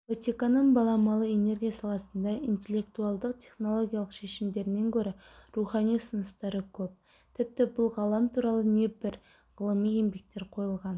ватиканның баламалы энергия саласында интеллектуалдық технологиялық шешімдерінен гөрі рухани ұсыныстары көп тіпті бұл ғалам туралы небір ғылыми еңбектер қойылған